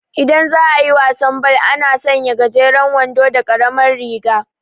Idan za'ayi wasan bal, ana sanya gajeran wando da karamar riga